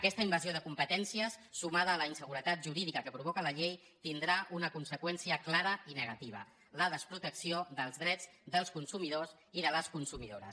aquesta invasió de competències sumada a la inseguretat jurídica que provoca la llei tindrà una conseqüència clara i negativa la desprotecció dels drets dels consumidors i de les consumidores